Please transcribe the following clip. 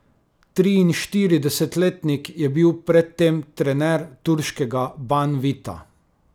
Triinštiridesetletnik je bil pred tem trener turškega Banvita.